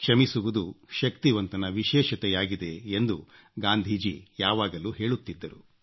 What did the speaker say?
ಕ್ಷಮಿಸುವುದು ಶಕ್ತಿವಂತನ ವಿಷೇಶತೆಯಾಗಿದೆ ಎಂದು ಗಾಂಧೀಜಿ ಯಾವಾಗಲೂ ಹೇಳುತ್ತಿದ್ದರು